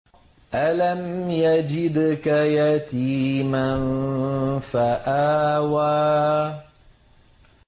أَلَمْ يَجِدْكَ يَتِيمًا فَآوَىٰ